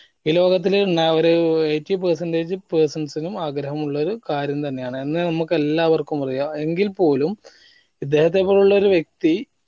ഈ ലോകത്തില് ഏർ ഒരു eightypercentage persons നും ആഗ്രഹമുള്ളൊരു കാര്യം തന്നെ ആണ് എന്ന് നമുക്ക് എല്ലാവർക്കും അറിയാം എങ്കിൽ പോലും ഇദ്ദേഹത്തെ പോലുള്ളൊരു വ്യക്തി